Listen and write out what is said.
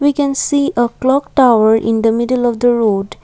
we can see a clock tower in the middle of the road.